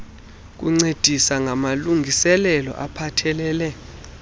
kuncedisa ngamalungiselelo aphathelele